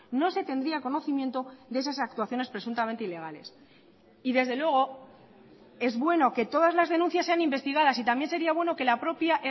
no se tendría conocimiento de esas actuaciones presuntamente ilegales y desde luego es bueno que todas las denuncias sean investigadas y también sería bueno que la propia